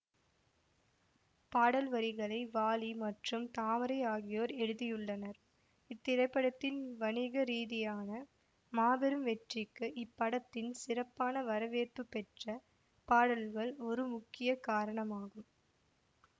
பாடல் வரிகளை வாலி மற்றும் தாமரை ஆகியோர் எழுதியுள்ளனர் இத்திரைப்படத்தின் வணிக ரீதியான மாபெரும் வெற்றிக்கு இப்படத்தின் சிறப்பான வரவேற்பு பெற்ற பாடல்கள் ஒரு முக்கிய காரணமாகும்